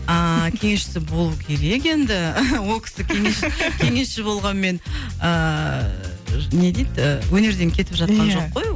ааа кеңесшісі болу керек енді ол кісі кеңесші кеңесші болғанмен ыыы не дейді өнерден кетіп жатқан жоқ қой ол